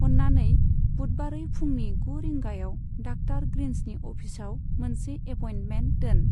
अननानै बुधबारै फुंनि गु रिंगायाव डाक्टार ग्रिन्सनि अफिसाव मोनसे एपयेन्टमेन्ट दोन।